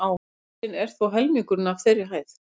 Hálsinn er þó helmingurinn af þeirri hæð.